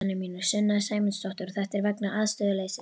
Sunna Sæmundsdóttir: Og þetta er vegna aðstöðuleysis?